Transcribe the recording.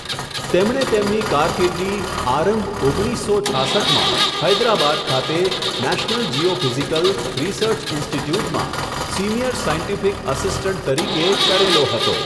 તેમણે તેમની કારકિર્દી, આરંભ ઓગણીસસો છાસઠમાં, હૈદ્રાબાદ ખાતે, નેશનલ જીઓફીઝીકલ, રીસર્ચ ઇન્સ્ટિટયૂટમાં, સીનિયર સાયન્ટીફીક આસિસ્ટન્ટ તરીકે, કરેલો હતો.